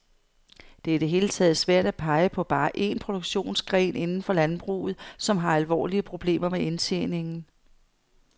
Det er i det hele taget svært at pege på bare en produktionsgren inden for landbruget, som har alvorlige problemer med indtjeningen.